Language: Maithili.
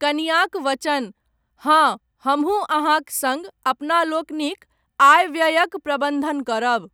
कनियाँक वचन, हाँ , हमहूँ अहाँक सङ्ग, अपनालोकनिक, आय व्ययक प्रबन्धन करब।